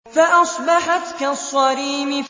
فَأَصْبَحَتْ كَالصَّرِيمِ